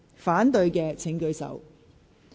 反對的請舉手。